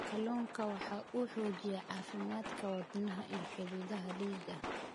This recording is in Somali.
Kalluunku waxa uu xoojiyaa caafimaadka wadnaha iyo xididdada dhiigga.